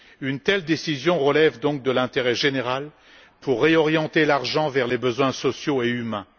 Une telle décision relève donc de l'intérêt général pour réorienter l'argent vers les besoins sociaux et humains.